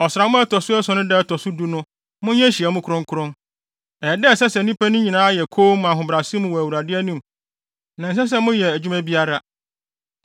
“ ‘Ɔsram a ɛto so ason no da a ɛto so du so no monyɛ nhyiamu kronkron. Ɛyɛ da a ɛsɛ sɛ nnipa no nyinaa yɛ komm ahobrɛase mu wɔ Awurade anim na ɛnsɛ sɛ biara yɛ adwuma biara.